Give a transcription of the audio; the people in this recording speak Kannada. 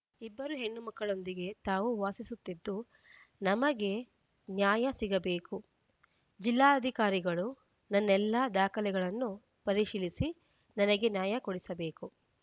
ಇಬ್ಬರು ಹೆಣ್ಣು ಮಕ್ಕಳೊಂದಿಗೆ ತಾವು ವಾಸಿಸುತ್ತಿದ್ದು ನಮಗೆ ನ್ಯಾಯ ಸಿಗಬೇಕು ಜಿಲ್ಲಾಧಿಕಾರಿಗಳು ನನ್ನೆಲ್ಲಾ ದಾಖಲೆಗಳನ್ನು ಪರಿಶೀಲಿಸಿ ನನಗೆ ನ್ಯಾಯ ಕೊಡಿಸಬೇಕು